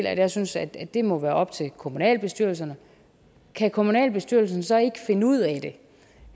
at jeg synes at det må være op til kommunalbestyrelserne kan kommunalbestyrelsen så ikke finde ud